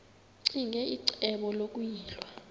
ccinge icebo lokuyilwa